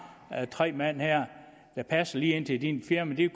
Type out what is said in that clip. tre mand her der passer lige ind i dit firma det